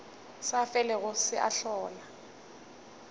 sa felego se a hlola